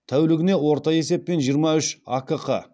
тәулігіне орта есеппен жиырма үш акқ